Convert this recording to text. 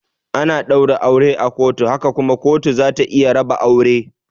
Ana daura aure a kotu haka kuma kotu zata iya raba aure.